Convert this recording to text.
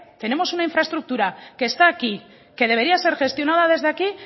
tenemos una infraestructura que está aquí que debería ser gestionada desde aquí